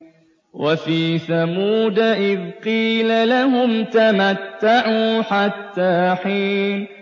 وَفِي ثَمُودَ إِذْ قِيلَ لَهُمْ تَمَتَّعُوا حَتَّىٰ حِينٍ